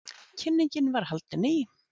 Kynningin var haldin í